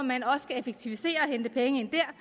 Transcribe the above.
man også skal effektivisere og hente penge ind dér